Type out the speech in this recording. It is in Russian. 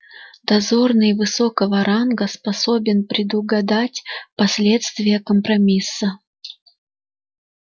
дозорный высокого ранга способен предугадать последствия компромисса